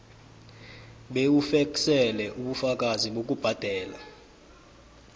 bewufeksele ubufakazi bokubhadela